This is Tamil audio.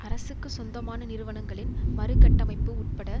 அரசுக்கு சொந்தமான நிறுவனங்களின் மறுகட்டமைப்பு உட்பட